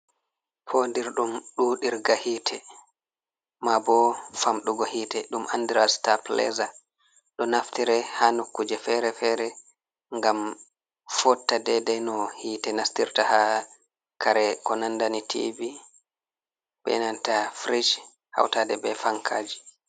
Fodirɗum ɗuɗirga hite ma bo famɗugo hite ɗum andira stabilizer. Ɗo naftire ha nokkuje fere-fere ngam fotta dedei no hite nastirta ha kare ko nandani tivi be nanta fridge hautade be fankaji.